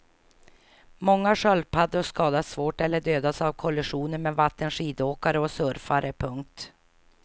Många sköldpaddor skadas svårt eller dödas av kollisioner med vattenskidåkare och surfare. punkt